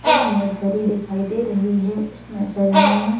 एक नर्सरी दिखाई दे रही है उस नर्सरी में--